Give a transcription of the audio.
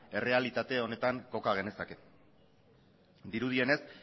errealitate honetan koka genezake dirudienez